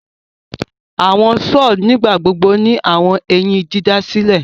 Awọn saws nigbagbogbo ni awọn eyin didasilẹ